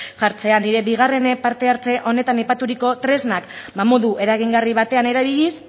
hartzea bigarren partehartze honetan aipaturiko tresnak ba modu eragingarri batean erabiliz